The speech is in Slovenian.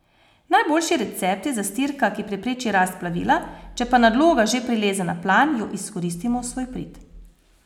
Najboljši recept je zastirka, ki prepreči rast plevela, če pa nadloga že prileze na plan, jo izkoristimo v svoj prid.